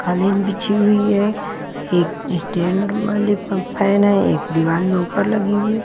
खालीन बिछी हुई है एक स्टैंड वाले फ फैन हैं एक दीवार में ऊपर लगी हुई है।